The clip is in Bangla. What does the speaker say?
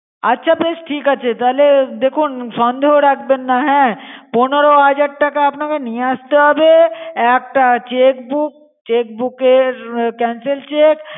আচ্ছা বেশ ঠিক আছে তাহলে দেখুন সন্দেহ রাখবেন না হ্যা পনেরো হাজার টাকা নিয়ে আসতে হবে একটা chequebook, cheque book এর cancel cheque